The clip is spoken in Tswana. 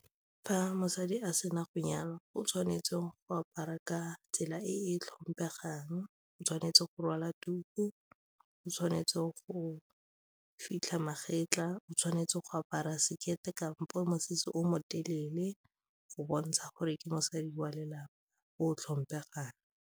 Fa mosadi a sena go nyalwa o tshwanetse go apara ka tsela e e tlhomphegang, o tshwanetse go rwala tuku, o tshwanetse go fitlha magetla, o tshwanetse go apara sekete kampo mosese o motelele go bontsha gore ke mosadi wa lelapa o tlhomphegang.